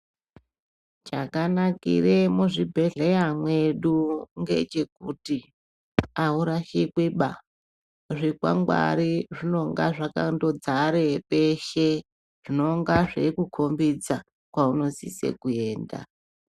Chakanakire muzvibhedhlera mwedu ngechekuti aurashikwi ba, zvikwangwari zvinonga zvakandodzare peshe zvinonga zveikukombidza kwaunosise kuenda.